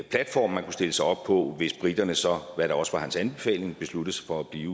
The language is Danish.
platform man kunne stille sig op på hvis briterne så hvad der også var hans anbefaling besluttede sig for at blive